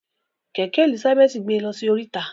Kẹkẹ Elizabeth gbe lọsí oríta.